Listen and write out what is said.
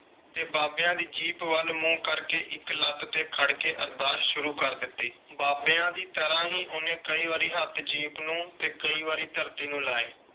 ਤੇ ਬਾਬਿਆਂ ਦੀ ਜੀਪ ਵੱਲ ਮੂੰਹ ਕਰਕੇ ਇਕ ਲੱਤ ਤੇ ਖੜ ਕੇ ਅਰਦਾਸ ਸ਼ੂਰੂ ਕਰ ਦਿੱਤੀ। ਬਾਬਿਆਂ ਦੀ ਤਰ੍ਹਾਂ ਹੀ ਉਹਨੇ ਕਈ ਵਾਰੀ ਹੱਥ ਜੀਪ ਨੂੰ ਤੇ ਕਈ ਵਾਰੀ ਧਰਤੀ ਨੂੰ ਲਾਏ।